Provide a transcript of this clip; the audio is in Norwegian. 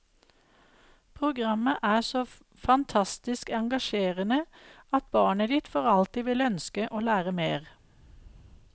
Programmet er så fantastisk engasjerende at barnet ditt for alltid vil ønske å lære mer.